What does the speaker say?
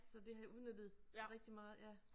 Så det har jeg udnyttet rigtig meget ja